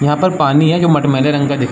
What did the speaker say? यहाँ पर पानी है जो मठमैले रंग का दिख --